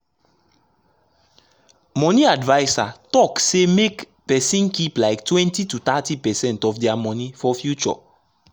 money adviser talk say make person keep like 20–30 percent of their money for future.